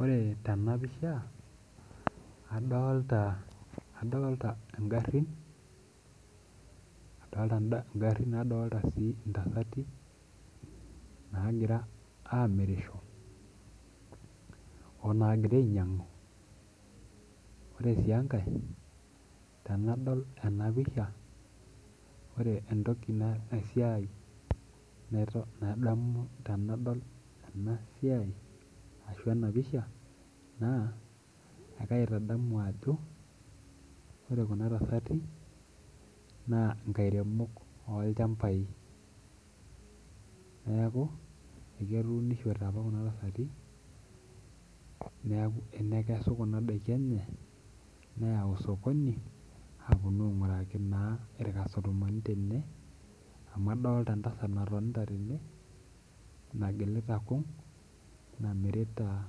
Ore tenapisha adolta ngarin nadolta ntasati nagira amirisho onagira ainyangu ore enkae na tanadol enapisha ore entoki naisiai tanadol enasiai ashu enapisha na kaitadamu ajo ore kuna tasati na nkairemo okuna neaku ketuunishote apa kuna tasati neaku enekesu kuna dakii enye neyau osokoni aponi ainguraki irkastomani tene amu adolta entasat natonta tene nagilita kung namirita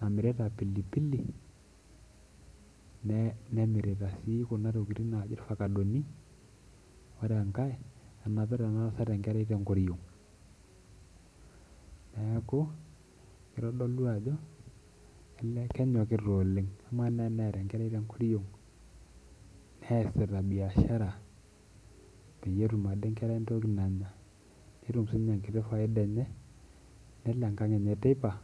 tene pilipili nemirira si kuna tokitin naji irfakadoni, ore enkae enapita enatasat enkerai tenkoriong neaku kitodolu ajo kenyokita oleng amu ama teneeta enkerai tenkoriong neasita biashara peyie etum ade nkera entoki nanya netum sinye enkiti faida enye nelo enkang enye teipa.